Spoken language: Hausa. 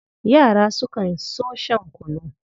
Yara sukan so shan kunu.